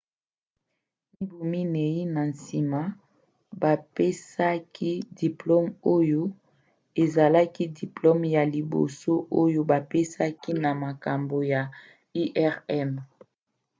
mibu minei na nsima bapesaki diplome oyo ezalaki diplome ya liboso oyo bapesaki na makambo ya irm